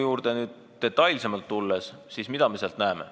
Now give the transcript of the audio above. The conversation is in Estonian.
Kui nüüd detailsemalt selle eelnõu juurde tulla, siis mida me näeme.